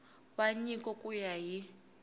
wa nyiko ku ya hi